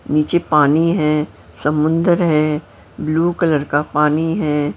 नीचे पानी है समुंदर है ब्लू कलर का पानी है।